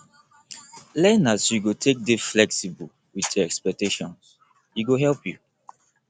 learn as you go take dey flexible with your expectations e go help you